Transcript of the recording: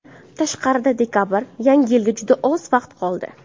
Tashqarida dekabr, Yangi yilga juda oz vaqt qoldi.